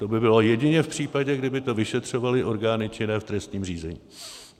To by bylo jedině v případě, kdyby to vyšetřovaly orgány činné v trestním řízení.